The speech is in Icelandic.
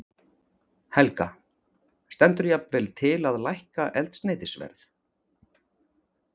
Helga: Stendur jafnvel til að lækka eldsneytisverð?